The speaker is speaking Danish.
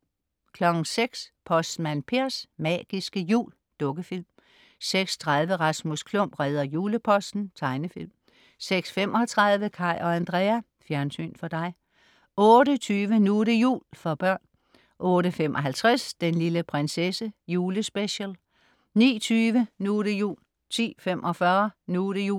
06.00 Postmand Pers magiske jul. Dukkefilm 06.30 Rasmus Klump redder juleposten. Tegnefilm 06.35 Kaj og Andrea. Fjernsyn for dig 08.20 Nu' det jul. For børn 08.55 Den lille prinsesse julespecial 09.20 Nu' det jul 10.45 Nu' det jul